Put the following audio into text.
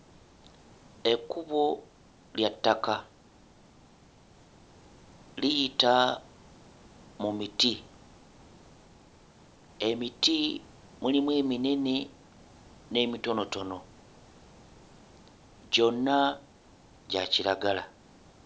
Ekkubo lya ttaka liyita mu miti. Emiti mulimu eminene n'emitonotono, gyonna gya kiragala.